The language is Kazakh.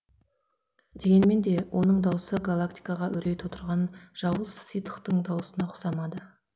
дегенмен де оның дауысы галактикаға үрей тудырған жауыз ситхтің дауысына ұқсамады